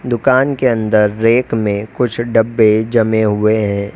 दुकान के अंदर रैक में कुछ डब्बे जमे हुए हैं।